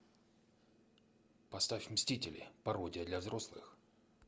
поставь мстители пародия для взрослых